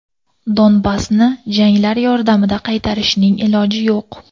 Donbassni janglar yordamida qaytarishning iloji yo‘q.